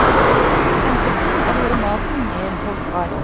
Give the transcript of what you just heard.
Hensikten er å gjøre maten mer holdbar.